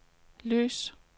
lys